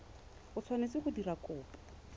o tshwanetseng go dira kopo